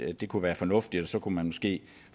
at det kunne være fornuftigt for så kunne man måske